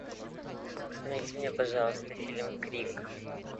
найди мне пожалуйста фильм крик